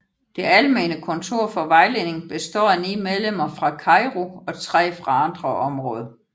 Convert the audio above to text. Det almene kontor for vejledning består af ni medlemmer fra Cairo og tre fra andre områder